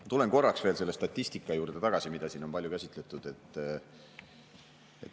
Ma tulen korraks veel selle statistika juurde, mida siin on palju käsitletud.